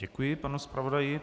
Děkuji, pane zpravodaji.